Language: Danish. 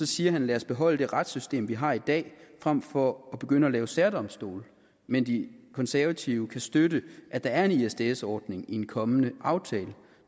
siger han lad os beholde det retssystem vi har i dag frem for at begynde at lave særdomstole men de konservative kan støtte at der er en isds isds ordning i en kommende aftale